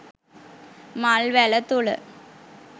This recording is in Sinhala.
මල් වැල තුළ